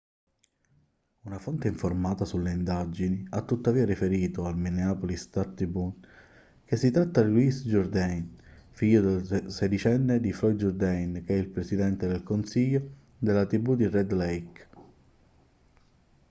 una fonte informata sulle indagini ha tuttavia riferito al minneapolis star-tribune che si tratta di louis jourdain figlio sedicenne di floyd jourdain che è il presidente del consiglio della tribù di red lake